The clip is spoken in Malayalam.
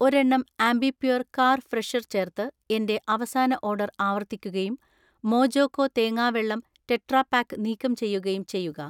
ഒരെണ്ണം ആംബിപ്യുര്‍ കാർ ഫ്രെഷർ ചേർത്ത് എന്‍റെ അവസാന ഓർഡർ ആവർത്തിക്കുകയും മോജോകോ തേങ്ങാവെള്ളം ടെട്രാപാക്ക് നീക്കം ചെയ്യുകയും ചെയ്യുക